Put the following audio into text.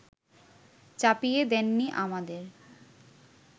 চাপিয়ে দেননি আমাদের